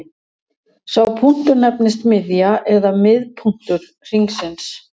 sá punktur nefnist miðja eða miðpunktur hringsins